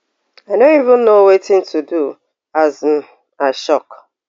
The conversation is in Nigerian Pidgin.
i know even no wetin to do as um i shock